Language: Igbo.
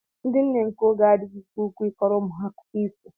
Ndị nne nke oge adịghị ike nke ukwuu ịkọro umu ha akụkọ ifo